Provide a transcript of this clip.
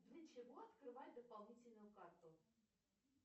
для чего открывать дополнительную карту